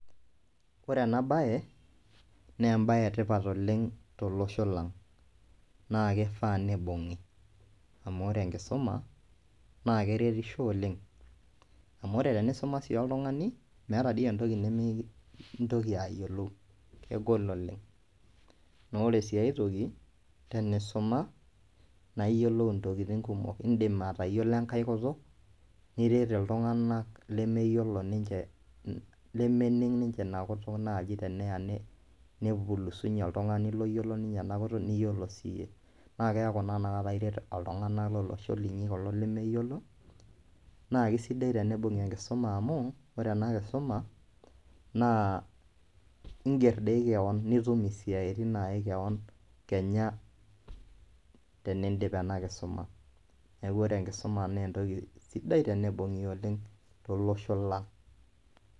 Ore ena baye nee embaye e tipat oleng' tolosho lang' naake ifaa nibung'i amu ore enkisuma naake eretisho oleng' amu ore tenisuma sii oltung'ani, meeta dii entoki nemintoki ayiolou kegol oleng'. Naa ore sii ai toki tenisuma naa iyiolou ntokitin kumok, iindim atayiolo enkae kutuk niret iltung'anak lemeyiolo ninje lemening' ninje ina kutuk naaji teneya nepulusinye oltung'ani loyiolo ninye ena kutuk niyiolo siye, naake eeku naa inakata iret iltung'anak lolosho linyi kulo lemeyiolo. Naa kesidai tenibung'i enkisuma amu kore ena kisuma naa ing'er dii keon nitum isiaitin nae keon kenya teniidip ena kisuma. Neeku ore enkisuma nee entoki sidai tenibung'i oleng' tolosho lang'.